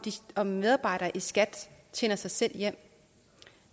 om medarbejdere i skat tjener sig selv hjem